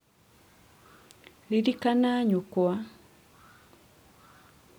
ririkania nyũkwa